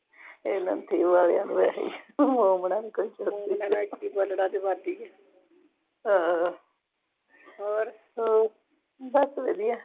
ਇਨ੍ਵਾਂ ਨੂੰ ਵੈਸੇ ਹਾਂ ਹੋਰ, ਬਸ ਵਧੀਆ